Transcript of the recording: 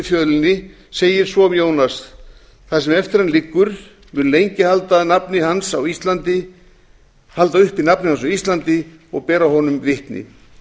fjölni segir svo um jónas það sem eftir hann liggur mun lengi halda uppi nafni hans á íslandi og bera honum vitni